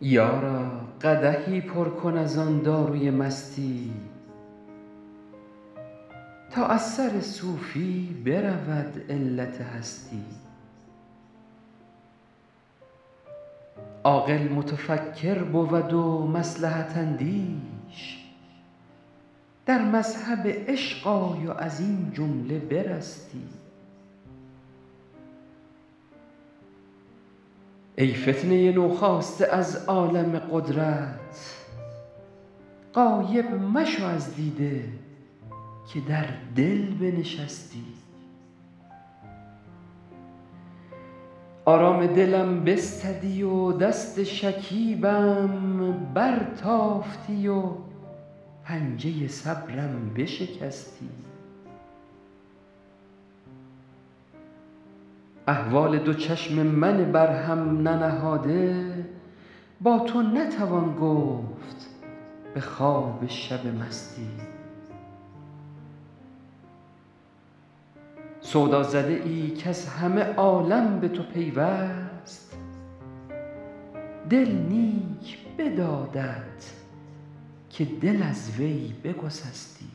یارا قدحی پر کن از آن داروی مستی تا از سر صوفی برود علت هستی عاقل متفکر بود و مصلحت اندیش در مذهب عشق آی و از این جمله برستی ای فتنه نوخاسته از عالم قدرت غایب مشو از دیده که در دل بنشستی آرام دلم بستدی و دست شکیبم برتافتی و پنجه صبرم بشکستی احوال دو چشم من بر هم ننهاده با تو نتوان گفت به خواب شب مستی سودازده ای کز همه عالم به تو پیوست دل نیک بدادت که دل از وی بگسستی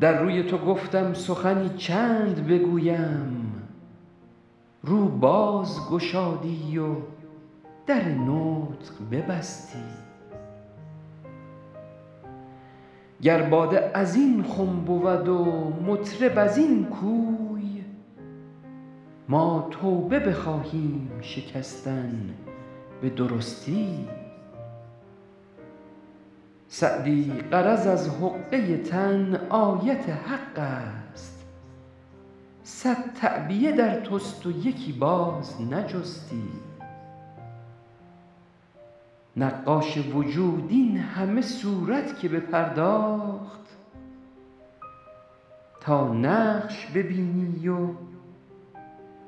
در روی تو گفتم سخنی چند بگویم رو باز گشادی و در نطق ببستی گر باده از این خم بود و مطرب از این کوی ما توبه بخواهیم شکستن به درستی سعدی غرض از حقه تن آیت حق است صد تعبیه در توست و یکی باز نجستی نقاش وجود این همه صورت که بپرداخت تا نقش ببینی و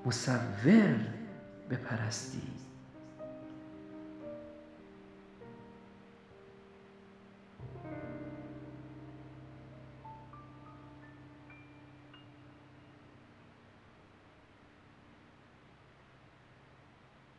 مصور بپرستی